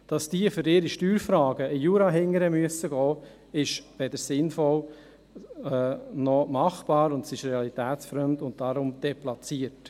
Dass diese für ihre Steuerfragen bis in den Jura gehen müssen, ist weder sinnvoll noch machbar, und es ist realitätsfremd und deshalb deplatziert.